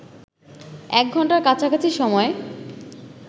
এক ঘণ্টার কাছাকাছি সময়